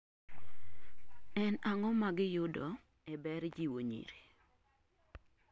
En ag'o magiyudo e ber jiwo nyiri?